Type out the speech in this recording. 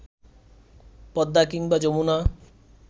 পদ্মা কিংবা যমুনা